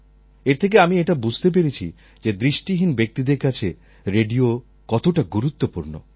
এর থেকে আমি এটা বুঝতে পেরেছি যে দৃষ্টিহীন ব্যক্তিদের কাছে রেডিও কতটা গুরুত্বপূর্ণ